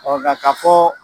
nga ka fɔ